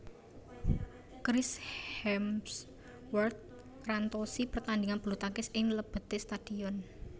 Chris Hemsworth ngrantosi pertandingan bulutangkis ing lebete stadion